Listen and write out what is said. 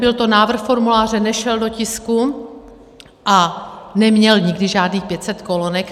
Byl to návrh formuláře, nešel do tisku a neměl nikdy žádných 500 kolonek.